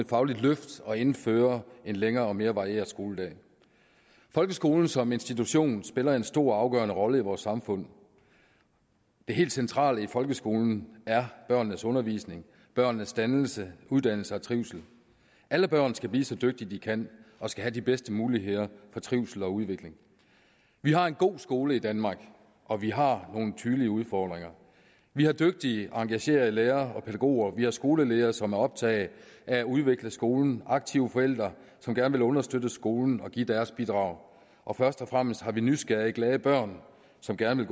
fagligt løft og at indføre en længere og mere varieret skoledag folkeskolen som institution spiller en stor og afgørende rolle i vores samfund det helt centrale i folkeskolen er børnenes undervisning børnenes dannelse uddannelse og trivsel alle børn skal blive så dygtige de kan og skal have de bedste muligheder for trivsel og udvikling vi har en god skole i danmark og vi har nogle tydelige udfordringer vi har dygtige og engagerede lærere og pædagoger vi har skoleledere som er optaget af at udvikle skolen og aktive forældre som gerne vil understøtte skolen og give deres bidrag og først og fremmest har vi nysgerrige glade børn som gerne